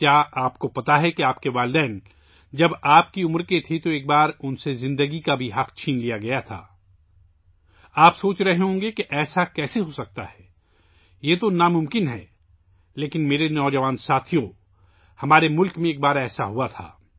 کیا آپ جانتے ہیں کہ جب آپ کے والدین آپ کی عمر کے تھے تو ایک بار ان سے زندگی کا حق بھی چھین لیا گیا تھا! آپ سوچ رہے ہوں گے کہ یہ کیسے ہوسکتا ہے؟ یہ ناممکن ہے، لیکن میرے نوجوان دوستو! یہ ہمارے ملک میں ایک بار ہوا تھا